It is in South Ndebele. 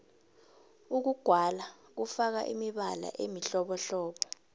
ukugwala kufaka imibala emihlobohlobo